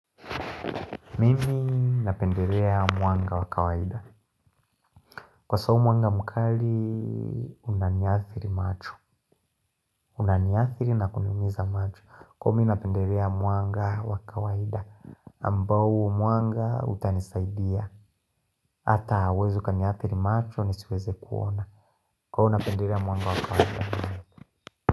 Mimi napenderea mwanga wakawaida Kwa sababu mwanga mkali unaniathiri macho Unaniathiri na kuniumiza macho kwao minapenderea mwanga wakawaida Ambau mwanga utanisaidia Hata hauwezi ukaniathiri macho ni siweze kuona kwao napenderea mwanga wakawaida.